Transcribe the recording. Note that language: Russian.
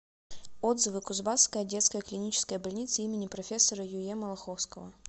отзывы кузбасская детская клиническая больница им профессора юе малаховского